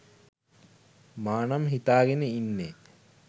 මා නම් හිතාගෙන ඉන්නේ.